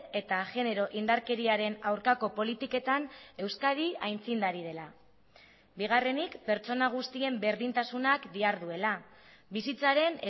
eta genero indarkeriaren aurkako politiketan euskadi aitzindari dela bigarrenik pertsona guztien berdintasunak diharduela bizitzaren